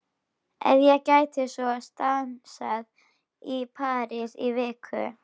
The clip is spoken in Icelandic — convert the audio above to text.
Ef ég gæti svo stansað í París í viku?